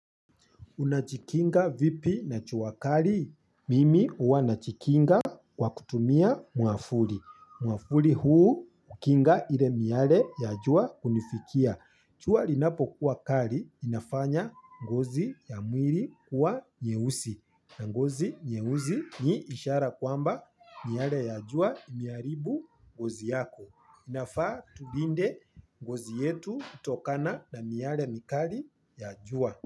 Unajikinga vipi na jua kali? Mimi huwa najikinga kwa kutumia mwavuli. Mwavuli huu hukinga ile miale ya jua kunifikia. Jua linapokuwa kali inafanya ngozi ya mwili kuwa nyeusi. Na ngozi nyeusi ni ishara kwamba miale ya jua imeharibu ngozi yako. Inafaa tulinde ngozi yetu kutokana na miale mikali ya jua.